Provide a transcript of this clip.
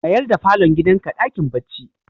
Mayar da falon gidanka dakin bacci.